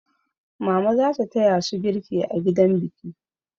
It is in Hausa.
Mama za ta taya su girki a gidan biki.